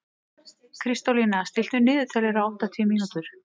Kristólína, stilltu niðurteljara á áttatíu mínútur.